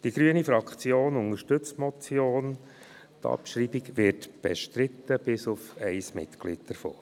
Die grüne Fraktion unterstützt die Motion, die Abschreibung wird mit Ausnahme eines Mitglieds bestritten.